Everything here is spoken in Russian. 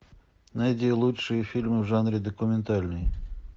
найди лучшие фильмы в жанре документальный